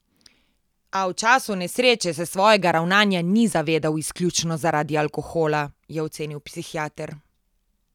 A v času nesreče se svojega ravnanja ni zavedal izključno zaradi alkohola, je ocenil psihiater.